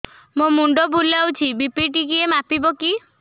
ମୋ ମୁଣ୍ଡ ବୁଲାଉଛି ବି.ପି ଟିକିଏ ମାପିବ କି